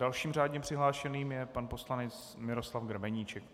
Dalším řádně přihlášeným je pan poslanec Miroslav Grebeníček.